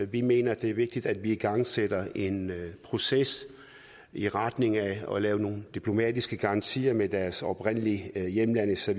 vi mener det er vigtigt at man igangsætter en proces i retning af at lave nogle diplomatiske garantier med deres oprindelige hjemlande så